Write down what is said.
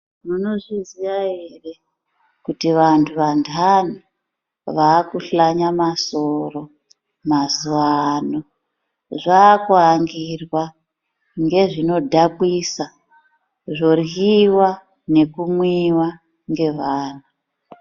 Munozviziya ere kuti vantu vandani vakuhlanyama soro mazuwa ano zvakuangirwa ngezvinodhakwisa zvoryiwa nekumwiwa ngevanhu.